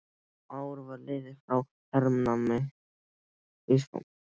Ár var liðið frá hernámi Íslands.